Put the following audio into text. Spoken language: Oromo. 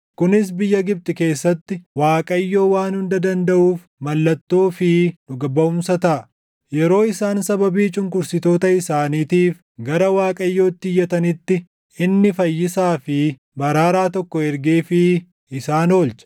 Kunis biyya Gibxi keessatti Waaqayyoo Waan Hunda Dandaʼuuf mallattoo fi dhuga baʼumsa taʼa. Yeroo isaan sababii cunqursitoota isaaniitiif gara Waaqayyootti iyyatanitti, inni fayyisaa fi baraaraa tokko ergeefii isaan oolcha.